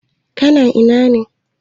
Ka na ina ne?